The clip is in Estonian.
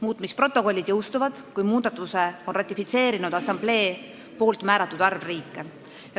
Muutmisprotokollid jõustuvad, kui muudatuse on ratifitseerinud assamblee määratud arv riike.